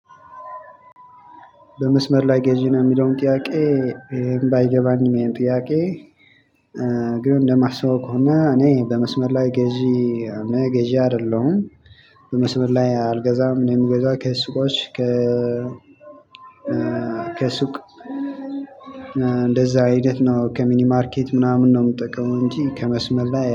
በመስመር ላይ ገዢ ነው የሚለውን ጥያቄ ይሄን ባይገባኝም ይሄን ጥያቄ እ እንደማስበው ከሆነ እኔ በመስመር ላይ ገዢ እኔ ገዢ አይደለሁም። በመስመር ላይ አልገዛም እኔ የምገዛው ከሱቆች ከ ከሱቅ እንደዛ ሂደት ነው ከሚኒማርኬት ምናምን ነው የምጠቀው እንጂ ከመስመር ላይ